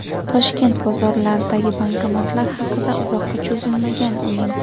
Toshkent bozorlaridagi bankomatlar haqida: Uzoqqa cho‘zilmagan o‘yin.